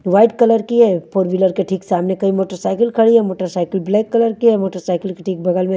white colour की है ऊपर विलर के ठीक सामने कई मोटर साइकिल खड़ी हुई है मोटर साइकिल ब्लैक कलर है मोटर साइकिल के ठीक बगल में --